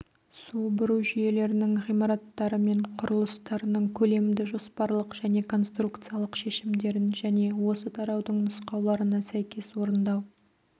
су бұру жүйелерінің ғимараттары мен құрылыстарының көлемді-жоспарлық және конструкциялық шешімдерін және осы тараудың нұсқауларына сәйкес орындау